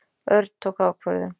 Örn tók ákvörðun.